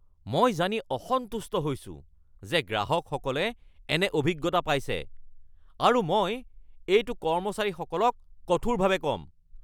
মই জানি অসন্তুষ্ট হৈছো যে গ্ৰাহকসকলে এনে অভিজ্ঞতা পাইছে আৰু মই এইটো কৰ্মচাৰীসকলক কঠাৰভাৱে ক’ম (চেফ)